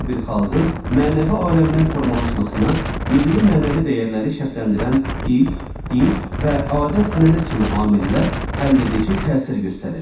Hər bir xalqın mənəvi aləminin formalaşmasına milli-mənəvi dəyərləri şərtləndirən dil, din və adət-ənənə kimi amillər həlledici təsir göstərir.